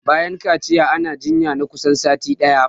Bayan kaciya ana jinya na kusan sati ɗaya